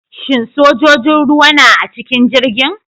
Shin sojojin ruwa na a cikin jirgin?